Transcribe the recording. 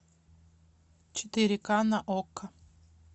четыре ка на окко